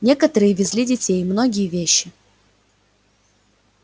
некоторые везли детей многие вещи